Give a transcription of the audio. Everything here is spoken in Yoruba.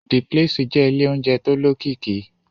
The place jẹ́ ilé oúnjẹ tó lókìkí